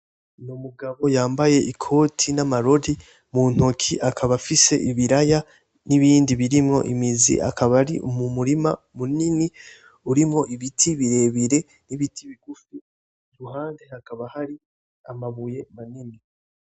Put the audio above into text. N'umugabo yambaye ikoti n'amarori mu ntoke akaba afise ibiraya n'ibindi birimwo imizi akaba ari mu murima munini urimwo ibiti birebire n'ibiti bigufi iruhande hakaba hari amabuye manini.